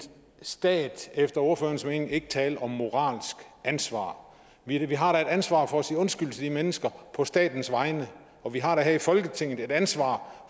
stat efter ordførerens mening ikke tale om moralsk ansvar vi vi har da et ansvar for at sige undskyld til de mennesker på statens vegne og vi har da her i folketinget et ansvar